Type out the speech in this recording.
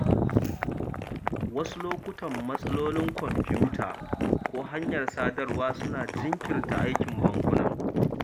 Wasu lokutan, matsalolin kwamfuta ko hanyar sadarwa suna jinkirta aikin bankuna